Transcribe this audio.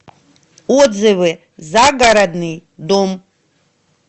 отзывы загородный дом